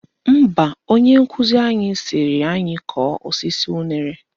Mba, onye nkụzi anyị sịrị anyị kọọ osisi unere